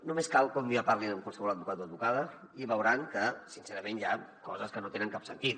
només cal que un dia parlin amb qualsevol advocat o advocada i veuran que sincerament hi ha coses que no tenen cap sentit